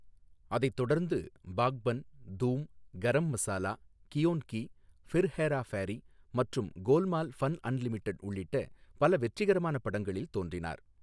அதைத் தொடர்ந்து பாக்பன், தூம், கரம் மசாலா, கியோன் கி, ஃபிர் ஹேரா ஃபேரி மற்றும் கோல்மால் ஃபன் அன்லிமிடெட் உள்ளிட்ட பல வெற்றிகரமான படங்களில் தோன்றினார்.